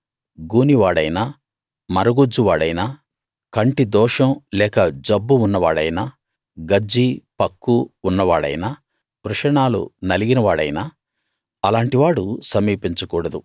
గూనివాడైనా మరుగుజ్జువాడైనా కంటి దోషం లేక జబ్బు ఉన్నవాడైనా గజ్జి పక్కు ఉన్నవాడైనా వృషణాలు నలిగినవాడైనా అలాంటివాడు సమీపించకూడదు